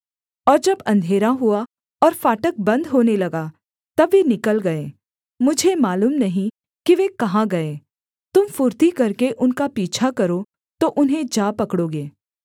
और जब अंधेरा हुआ और फाटक बन्द होने लगा तब वे निकल गए मुझे मालूम नहीं कि वे कहाँ गए तुम फुर्ती करके उनका पीछा करो तो उन्हें जा पकड़ोगे